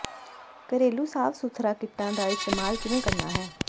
ਘਰੇਲੂ ਸਾਫ ਸੁਥਰਾ ਕਿੱਟਾਂ ਦਾ ਇਸਤੇਮਾਲ ਕਿਵੇਂ ਕਰਨਾ ਹੈ